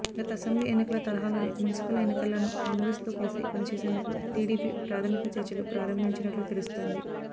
గత అసెంబ్లీ ఎన్నికల తరహాలోనే మున్సిపల్ ఎన్నికల్లోనూ కాంగ్రెస్ తో కలిసి పనిచేసేందుకు టీడీపీ ప్రాథమిక చర్చలు ప్రారంభించినట్లు తెలుస్తోంది